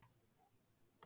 Hópið í Húnaþingi.